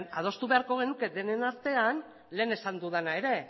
baina adostu beharko genuke denen artean lehen esan dudana ere